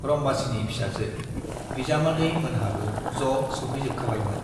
रम्बासीनि फिसाजो, बिजामादै मोनहाबो ज' सैफैजोबखाबायमोन।